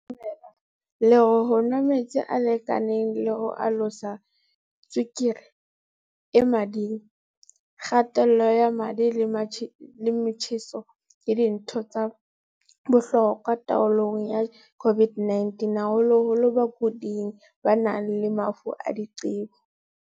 Bophirimela le re ho nwa metsi a lekaneng le ho alosa tswekere e mading, kga-tello ya madi le motjheso ke dintho tsa bohlokwa taolong ya COVID-19, haholoholo bakuding ba nang le mafu a diqebo.